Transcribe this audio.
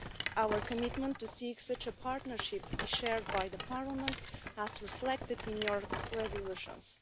Our commitment to seek such a partnership is shared by the Parliament, as reflected in your resolutions.